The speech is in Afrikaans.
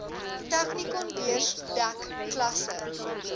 technikonbeurs dek klasse